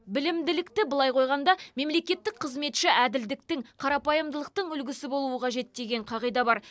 білімділікті былай қойғанда мемлекеттік қызметші әділдіктің қарапайымдылықтың үлгісі болуы қажет деген қағида бар